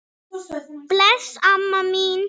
Bless, amma mín.